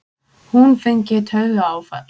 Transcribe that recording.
Hún fengi taugaáfall!